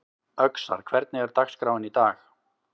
Öxar, hvernig er dagskráin í dag?